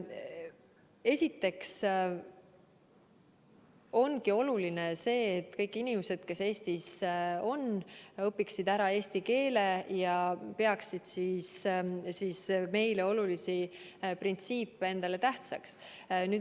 Esiteks on oluline see, et kõik inimesed, kes Eestis on, õpiksid ära eesti keele ja peaksid meile olulisi printsiipe ka ise tähtsaks.